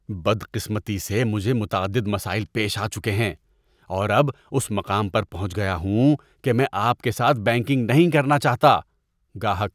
بدقسمتی سے مجھے متعدد مسائل پیش آ چکے ہیں اور اب اس مقام پر پہنچ گیا ہوں کہ میں آپ کے ساتھ بینکنگ نہیں کرنا چاہتا۔ (گاہک)